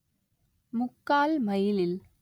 முக்கால் மைலில்